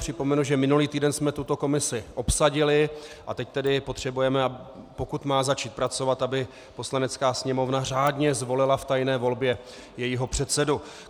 Připomenu, že minulý týden jsme tuto komisi obsadili, a teď tedy potřebujeme, pokud má začít pracovat, aby Poslanecká sněmovna řádně zvolila v tajné volbě jejího předsedu.